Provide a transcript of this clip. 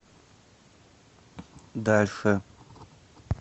дальше